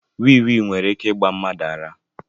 Wee wee nwere ike ịgba mmadụ ara.